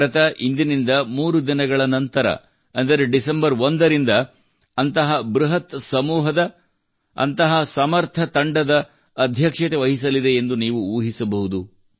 ಭಾರತವು ಇಂದಿನಿಂದ 3 ದಿನಗಳ ನಂತರ ಅಂದರೆ ಡಿಸೆಂಬರ್ 1 ರಿಂದ ಅಂತಹ ಬೃಹತ್ ಸಮೂಹದ ಅಂತಹ ಸಮರ್ಥ ತಂಡದ ಅಧ್ಯಕ್ಷತೆ ವಹಿಸಲಿದೆ ಎಂದು ನೀವು ಊಹಿಸಬಹುದು